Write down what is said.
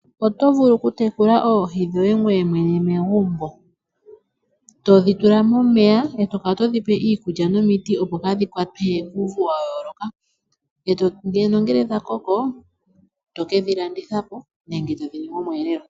Oto vulu oku tekula oohi dhoye ngweye mwene megumbo. To dhi tula momeya, eto kala yo dhi pe iikulya nomiti, opo kaa dhi kwatwe kuuvu wa yooloka. Nongele dha koko, eto ke dhi landithapo nenge to dhi ningi, omweelelo.